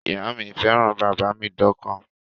Ìyá mi fẹ́ràn bàbá mi dọ́kàn